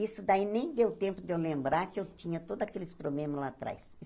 Isso daí nem deu tempo de eu lembrar que eu tinha todos aqueles problemas lá atrás.